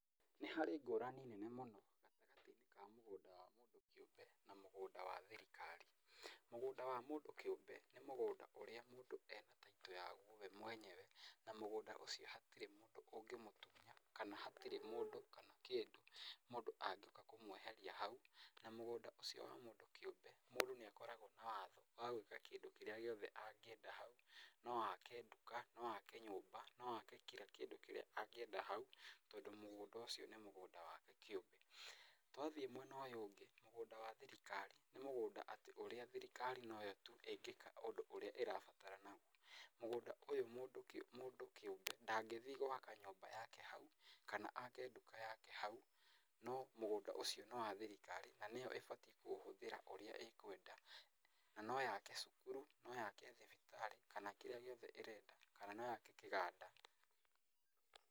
Nĩ harĩ ngũrani nene mũno gatagatĩ-inĩ wa mũgũnda wa mũndũ kĩũmbe na mũgũnda wa thirikari. Mũgũnda wa mũndũ kĩũmbe nĩ mũgũnda ũrĩa mũndũ ena Title yaguo we mwenyewe na mũgũnda ũcio hatirĩ mũndũ ũngĩmũtunya kana hatirĩ mũndũ kana kĩndũ mũndũ angĩũka kũmweheria hau. Na mũgũnda ũcio wa mũndũ kĩũmbe mũndũ nĩ akoragwo na watho wa gwĩka kĩndũ kĩrĩa gĩothe angĩenda hau. No ake nduka, no ake nyũmba, no ake kila kĩndũ angĩenda hau tondũ mũgũnda ũcio nĩ mũgũnda wake kĩũmbe. Twathiĩ mwena ũyũ ũngĩ mũgũnda wa thirikari nĩ mũgũnda atĩ ũrĩa thirikari noyo tu ĩngĩka ũndũ ũrĩa ĩrabatara naguo. Mũgũnda ũyũ mũndũ kĩũmbe ndagĩthiĩ gwaka nyũmba yake hau kana ake nduka yake hau. No mũgũnda ũcio nĩ wa thirikari na nĩyo ĩbatiĩ kũũhũthĩra ũrĩa ĩkwenda. Na no yake cukuru, no yake thibitarĩ kana kĩrĩa gĩothe ĩrenda. Kana no yake kĩganda.